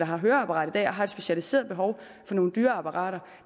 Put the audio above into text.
har høreapparat i dag og har et specialiseret behov for nogle dyre apparater